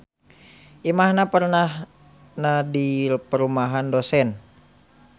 Imahna pernahna di perumahan dosen.